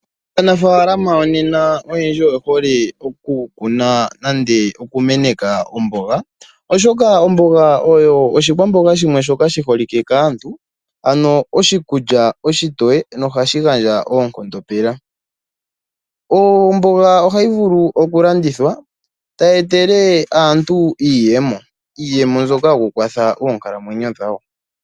Aanafaalama yonena oyendji oye hole oku kuna nande okumeneka omboga, oshoka omboga oyo oshikwamboga shimwe shoka shi holike kaantu, ano oshikulya oshitoye nohashi gandja oonkondo pela. Omboga ohayi vulu oku landithwa, tayi etele aantu iiyemo, iiyemo mbyoka yoku kwatha oonkalamwenyo dhawo.